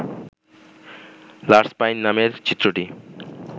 large pine নামের চিত্রটি